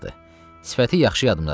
Sifəti yaxşı yadımdadır.